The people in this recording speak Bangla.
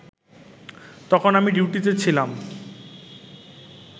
তখন আমি ডিউটিতে ছিলাম